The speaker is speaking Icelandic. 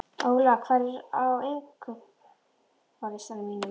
Óla, hvað er á innkaupalistanum mínum?